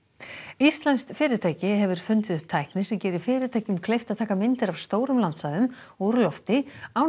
íslenskt fyrirtæki hefur fundið upp tækni sem gerir fyrirtækjum kleift að taka myndir af stórum landsvæðum úr lofti án